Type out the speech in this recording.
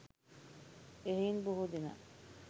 එහෙයින් බොහෝ දෙනා